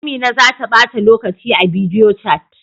Amina za ta bata lokaci a bidiyochat.